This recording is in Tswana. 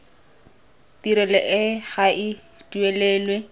tirelo e ga e duelelwe